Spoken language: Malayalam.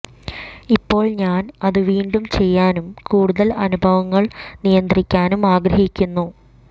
ഇപ്പോൾ ഞാൻ അത് വീണ്ടും ചെയ്യാനും കൂടുതൽ അനുഭവങ്ങൾ നിയന്ത്രിക്കാനും ആഗ്രഹിക്കുന്നു